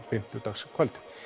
fimmtudagskvöld